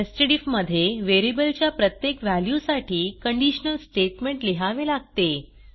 nested IF मध्ये variable च्या प्रत्येक व्हॅल्यूसाठी कंडिशनल स्टेटमेंट लिहावे लागते